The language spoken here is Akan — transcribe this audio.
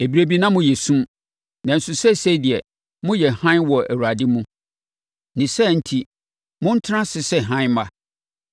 Ɛberɛ bi na moyɛ esum, nanso seesei deɛ, moyɛ hann wɔ Awurade mu. Ne saa enti montena ase sɛ hann mma.